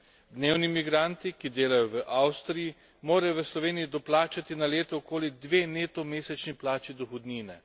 Dnevni migranti, ki delajo v Avstriji, morajo v Sloveniji doplačati na leto okoli dve neto mesečni plači dohodnine.